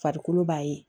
Farikolo b'a ye